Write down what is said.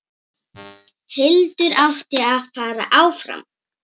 Hildur átti að fara áfram!